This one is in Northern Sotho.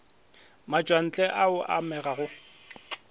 matšwantle a a amega go